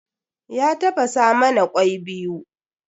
Ya tafasa mana kwai biyu.